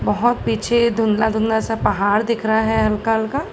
बहुत पीछे धुंधला धूधला सा पहाड़ दिख रहा है हल्का हल्का।